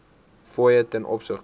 fooie ten opsigte